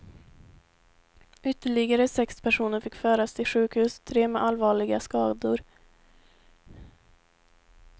Ytterligare sex personer fick föras till sjukhus, tre med allvarliga skador.